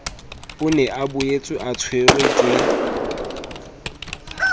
o ne a boetseatshwerwe ke